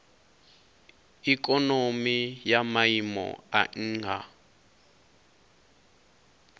ikonomi ya maiimo a nha